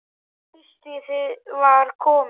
Haustið var komið.